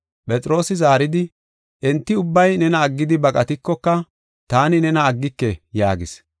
Phexroosi zaaridi, “Enti ubbay nena aggidi baqatikoka, taani nena aggike” yaagis.